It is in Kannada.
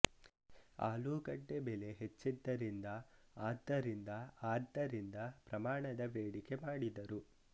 ಆಲೂಗಡ್ಡೆ ಬೆಲೆ ಹೆಚ್ಚಿದ್ದರಿಂದ ಆದ್ದರಿಂದ ಆದ್ದರಿಂದ ಪ್ರಮಾಣದ ಬೇಡಿಕೆ ಮಾಡಿದರು